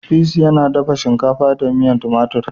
"peace" yana dafa shinkafa da miyan tumatur.